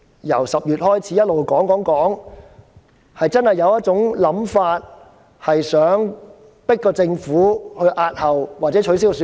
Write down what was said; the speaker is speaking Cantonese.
由10月開始，有市民一直說，建制派想迫政府押後或取消選舉。